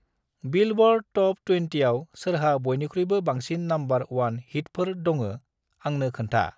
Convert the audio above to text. Billboard top ट्वेनटिआव सोरहा बयनिख्रुइबो बांसिन नमबर अवान हिटफोर दङा आंनो खोन्था।